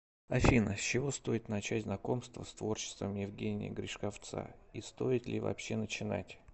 афина с чего стоит начать знакомство с творчеством евгения гришковцаи стоит ли вообще начинать